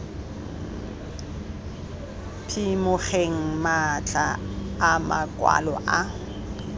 phimogeng matlha a makwalo a